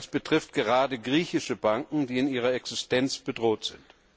Das betrifft gerade griechische Banken, die in ihrer Existenz bedroht sind.